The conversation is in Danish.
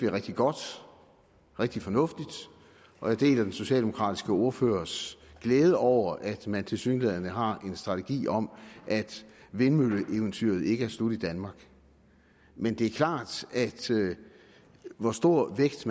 rigtig godt og rigtig fornuftigt og jeg deler den socialdemokratiske ordførers glæde over at man tilsyneladende har en strategi om at vindmølleeventyret i danmark ikke er slut men det er klart at hvor stor en vægt